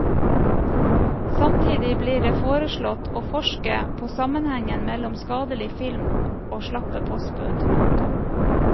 Samtidig blir det foreslått å forske på sammenhengen mellom skadelig film og slappe postbud. punktum